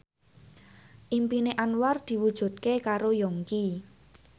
impine Anwar diwujudke karo Yongki